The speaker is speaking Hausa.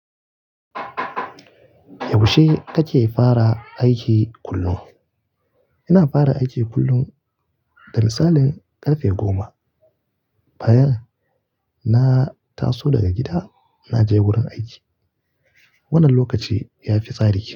Yaushe kake fara aiki kullum? Ina fara aiki kullum da misalin ƙarfe goma, bayan na taso daga gida na je wurin aiki. Wannan lokaci ya fi tsari.